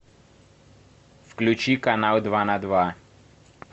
включи канал два на два